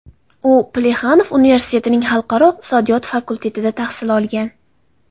U Plexanov universitetining xalqaro iqtisodiyot fakultetida tahsil olgan.